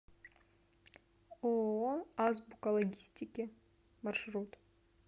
ооо азбука логистики маршрут